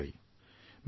তাৰ দ্বাৰা লোকচান হয়